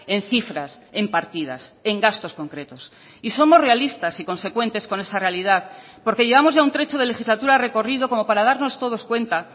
en cifras en partidas en gastos concretos y somos realistas y consecuentes con esa realidad porque llevamos ya un trecho de legislatura recorrido como para darnos todos cuenta